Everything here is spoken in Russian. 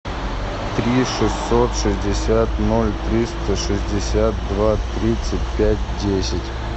три шестьсот шестьдесят ноль триста шестьдесят два тридцать пять десять